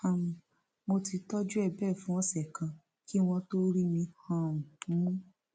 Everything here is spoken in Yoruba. um mo ti tọjú ẹ bẹẹ fún ọsẹ kan kí wọn tóó rí mi um mú